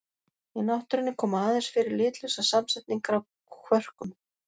Í náttúrunni koma aðeins fyrir litlausar samsetningar af kvörkum.